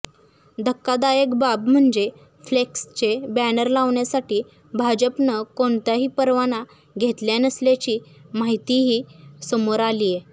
धक्कादायक बाब म्हणजे फ्लेक्सचे बॅनर लावण्यासाठी भाजपनं कोणताही परवाना घेतला नसल्याची माहितीही समोर आलीय